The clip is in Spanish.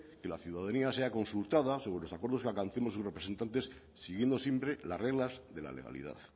que la ciudadanía sea consultada sobre los acuerdos que alcancemos sus representantes siguiendo siempre las reglas de la legalidad